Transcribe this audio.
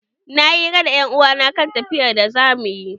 Nayi yi hira da 'yan uwa na kan tafiyar da zamu yi.